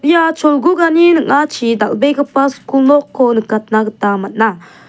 ia cholgugani ning·achi dal·begipa skul nokko nikatna gita man·a.